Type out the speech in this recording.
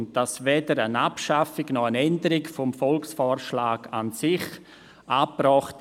So sei weder eine Abschaffung noch eine Änderung des Volksvorschlags an sich angebracht.